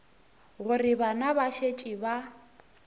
gore bana ba šetše ba